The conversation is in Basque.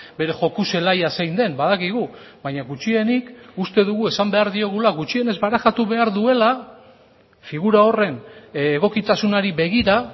bere joko zelaia zein den badakigu baina gutxienik uste dugu esan behar diogula gutxienez barajatu behar duela figura horren egokitasunari begira